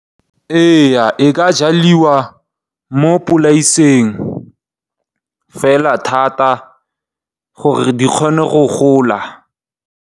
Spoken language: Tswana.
Ee e ka jalwa mo polaseng fela thata gore di kgone go gola.